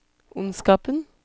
ondskapen